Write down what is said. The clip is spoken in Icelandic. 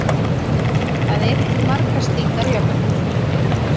Það eru til margar slíkar jöfnur.